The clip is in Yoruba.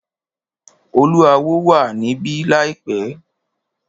Oluawo wà níbí láìpẹ́.